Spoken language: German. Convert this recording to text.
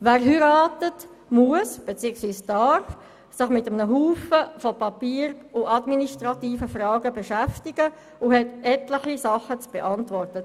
Wer heiratet, muss sich mit einer Menge Papier und administrativer Fragen beschäftigen und hat viele Dinge zu beantworten.